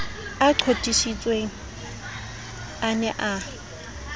a qotsitsweng a ne a